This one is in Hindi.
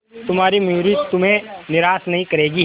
तुम्हारी मयूरी तुम्हें निराश नहीं करेगी